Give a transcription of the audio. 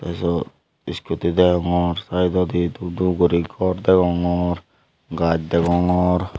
syot iskuti degongor siteoidi dup dup guri gor degogor gaaj degongor.